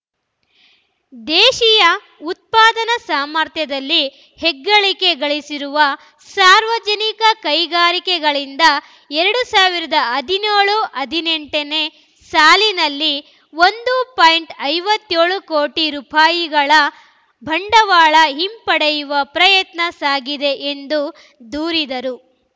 ದೇಶೀಯ ಉತ್ಪಾದನಾ ಸಾಮರ್ಥ್ಯದಲ್ಲಿ ಹೆಗ್ಗಳಿಕೆ ಗಳಿಸಿರುವ ಸಾರ್ವಜನಿಕ ಕೈಗಾರಿಕೆಗಳಿಂದ ಎರಡ್ ಸಾವಿರದ ಹದಿನ್ಯೋಳು ಹದಿನೆಂಟ ನೇ ಸಾಲಿನಲ್ಲಿ ಒಂದು ಪಾಯಿಂಟ್ ಐವತ್ಯೋಳು ಕೋಟಿ ರೂಪಾಯಿ ಗಳ ಬಂಡವಾಳ ಹಿಂಪಡೆಯುವ ಪ್ರಯತ್ನ ಸಾಗಿದೆ ಎಂದು ದೂರಿದರು